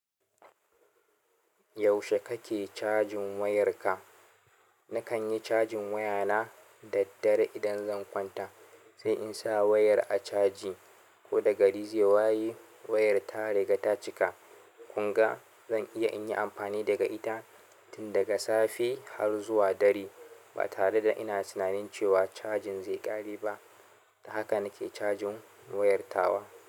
Yaushe kake cajin wayarka? Na kan yi cajin wayana daddare idan zan kwanta, sai in sa wayar a caji. Ko da gari zai waye, wayar ta riga ta cika. Kun ga, zan iya in yi amfani daga ita tun daga safe har zuwa dare, ba tare da ina tunanin cewa chajin zai ƙare ba. Haka na ke cajin wayar tawa.